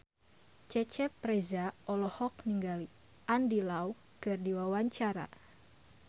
Cecep Reza olohok ningali Andy Lau keur diwawancara